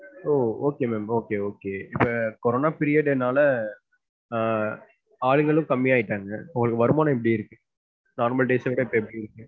ஓ okay ma'am, okay, okay. இப்ப corona period னால அஹ் ஆளுங்களும் கம்மி ஆகிட்டாங்க. இப்போ உங்களுக்கு வருமானம் எப்படி இருக்கு normal days அ விட எப்டி இருக்கு?